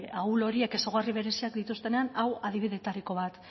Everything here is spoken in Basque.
ahul horiek ezaugarri bereziak dituztenean hau adibidetariko bat